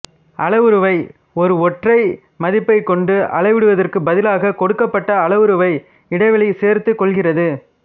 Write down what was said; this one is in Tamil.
அளவுருவை ஒரு ஒற்றை மதிப்பைக் கொண்டு அளவிடுவதற்கு பதிலாக கொடுக்கப்பட்ட அளவுருவை இடைவெளி சேர்த்துக்கொள்கிறது